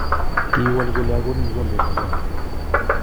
kiwol kole akonin kikombet akenge